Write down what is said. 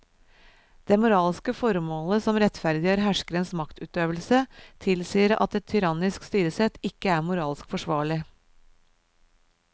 Det moralske formålet som rettferdiggjør herskerens maktutøvelse tilsier at et tyrannisk styresett ikke er moralsk forsvarlig.